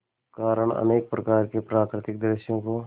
कारण अनेक प्रकार के प्राकृतिक दृश्यों को